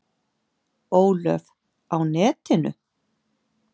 Ólöf: Á netinu?